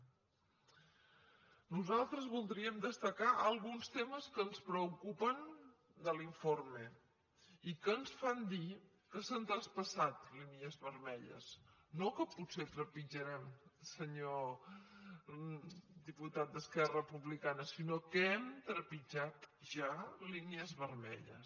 nosaltres voldríem destacar alguns temes que ens preocupen de l’informe i que ens fan dir que s’han traspassat línies vermelles no que potser trepitjarem senyor diputat d’esquerra republicana sinó que hem trepitjat ja línies vermells